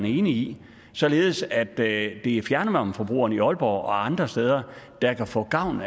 enig i således at det er fjernvarmeforbrugerne i aalborg og andre steder der kan få gavn